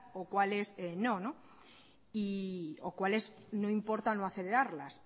o cuáles no o cuáles no importa no acelerarlas